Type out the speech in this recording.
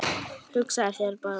Hugsaðu þér bara